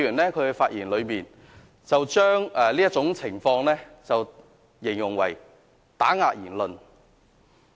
此外，朱凱廸議員在發言時將這種情況形容為打壓言論。